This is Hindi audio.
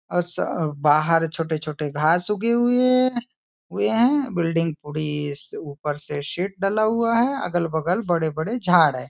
अस बाहर छोटे छोटे घास उगी हुई हैं हुए है बिल्डिंग पूरी ऊपर से शेड डला हुआ है अगल बगल बड़े बड़े झाड हैं।